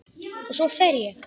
Og svo fer ég.